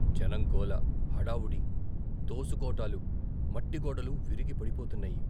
జనంగోల, హడావుడి, తోసుకోటాలు, మట్టిగోడలు విరిగి పడిపోతున్నాయి.